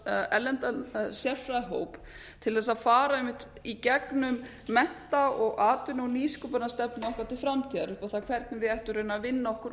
erlendan sérfræðihóp til þess að fara einmitt í gegnum mennta og atvinnu og nýsköpunarstefnu okkar til framtíðar upp á það hvernig við ættum raunar að vinna okkur